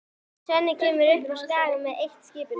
Svenni kemur upp á Skaga með eitt-skipinu.